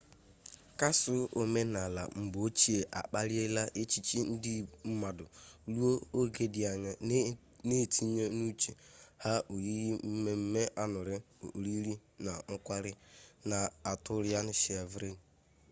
kasụl omenala mgbe ochie akpaliela echiche ndị mmadụ ruo oge dị anya na-etinye n'uche ha oyiyi mmemme añụrị oriri na nkwari na atọrịan shivalrị